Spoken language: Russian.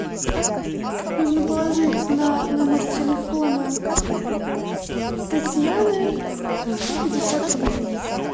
нужно положить на номер телефона татьяны сто пятьдесят рублей